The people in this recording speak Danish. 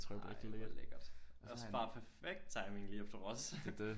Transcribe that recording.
Ej hvor lækkert. Også bare perfekt timing lige efter Ros